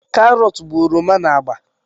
Karọt bụ oroma na agba